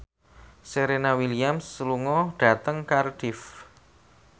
Serena Williams lunga dhateng Cardiff